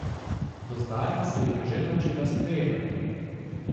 Do zdaj se jih je že naučila sprejemati.